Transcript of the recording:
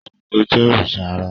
Ṣàngó Jé òrìṣà àrà